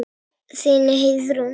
Þín, Heiðrún Ósk.